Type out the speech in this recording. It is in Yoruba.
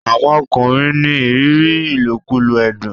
àwọn ọkùnrin ní ìrírí ilokulo ẹdun.